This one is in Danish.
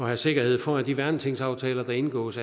have sikkerhed for at de værnetingsaftaler der indgås